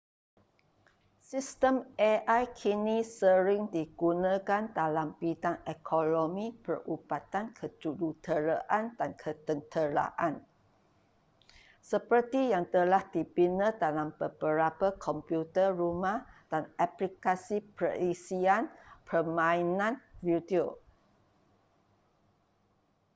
sistem ai kini sering digunakan dalam bidang ekonomi perubatan kejuruteraan dan ketenteraan seperti yang telah dibina dalam beberapa komputer rumah dan aplikasi perisian permainan video